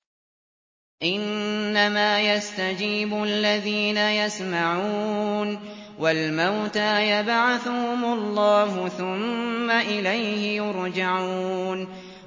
۞ إِنَّمَا يَسْتَجِيبُ الَّذِينَ يَسْمَعُونَ ۘ وَالْمَوْتَىٰ يَبْعَثُهُمُ اللَّهُ ثُمَّ إِلَيْهِ يُرْجَعُونَ